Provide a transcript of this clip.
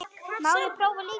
Má ég prófa líka!